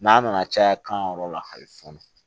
N'a nana caya kan yɔrɔ la hali fɔnɔ